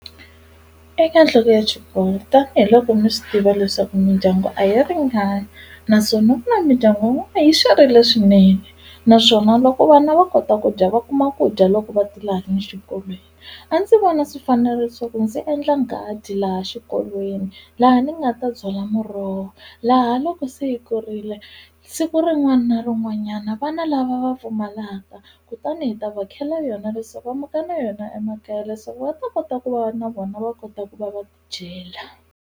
Eka nhloko ya xikolo tanihiloko mi swi tiva leswaku mindyangu a yi ringani naswona ku na mindyangu yin'wana yi swerile swinene naswona loko vana va kota ku dya va kuma ku dya loko va ti laha ni xikolweni a ndzi vona swi fanerile leswaku ndzi endla nghadi laha xikolweni laha ni nga ta byala muroho laha loko se yi kurile siku rin'wana na rin'wanyana vana lava va pfumalaka kutani hi ta va khela yona leswaku va muka na yona emakaya leswaku va ta kota ku va na vona va kota ku va va dyela.